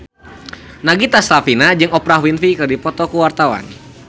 Nagita Slavina jeung Oprah Winfrey keur dipoto ku wartawan